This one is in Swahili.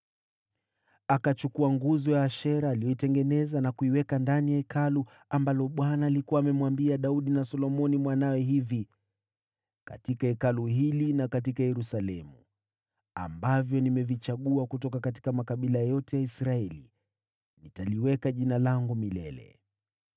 Akachukua nguzo ya Ashera aliyoichonga na kuiweka katika Hekalu, ambalo Bwana alikuwa amemwambia Daudi na mwanawe Solomoni, “Katika Hekalu hili na katika Yerusalemu niliouchagua kutoka kabila zote za Israeli, nitaliweka Jina langu milele.